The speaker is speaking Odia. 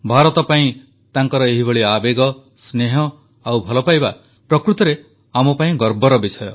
ଭାରତ ପାଇଁ ତାଙ୍କର ଏହିଭଳି ଆବେଗ ସ୍ନେହ ଓ ଭଲ ପାଇବା ପ୍ରକୃତରେ ଆମପାଇଁ ଗର୍ବର ବିଷୟ